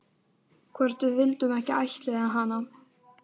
Mynd af uppdrættinum er í síðasta hefti Óðins.